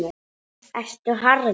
Ertu harður?